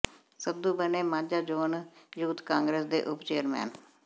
ਸੰਧੂ ਬਣੇ Majha zone youth Congress ਦੇ ਉੱਪ ਚੇਅਰਮੈਨ